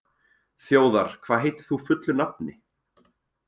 Þjóðar, hvað heitir þú fullu nafni?